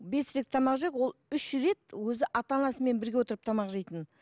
бес рет тамақ жеп ол үш рет өзі ата анасымен бірге отырып тамақ жейтін